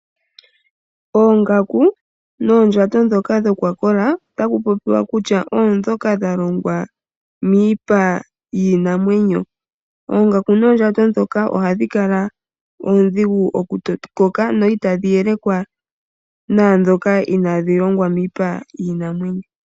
Oongaku noondjato ndhoka dha kola, otaku popiwa kutya oondhoka dha longwa miipa yiinamwenyo. Oongaku noondjato ndhoka ohadhi kala dha kola, itadhi yelekwa naadhoka inadhi longwa miipa yiinamwenyo.